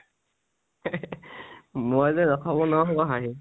মই যে ৰখাব নোনৱাৰা হলো হাহিঁ।